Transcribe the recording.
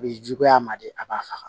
A bi juguya a ma de a b'a faga